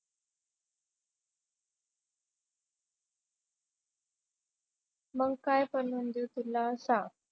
मंग काय बनवून देऊ तुला सांग.